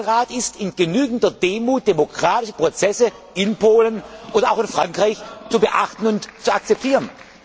Mein Rat ist, in genügender Demut demokratische Prozesse in Polen und auch in Frankreich zu beachten und zu akzeptieren.